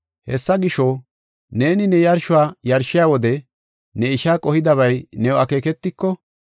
“Hessa gisho, neeni ne yarshuwa yarshiya wode, ne isha qohidabay new akeeketiko,